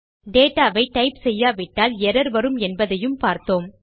data வை type செய்யாவிட்டால் error வரும் என்பதையும் பார்த்தோம்